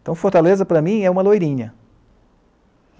Então, Fortaleza, para mim, é uma loirinha.